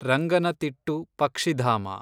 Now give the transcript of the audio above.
ರಂಗನತಿಟ್ಟು ಪಕ್ಷಿಧಾಮ